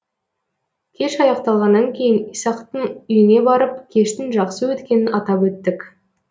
кеш аяқталғаннан кейін исақтың үйіне барып кештің жақсы өткенін атап өттік